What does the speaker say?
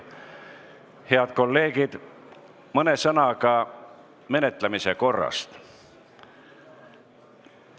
Head kolleegid, mõne sõnaga menetlemise korrast.